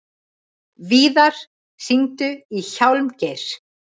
Víðar, hringdu í Hjálmgeir.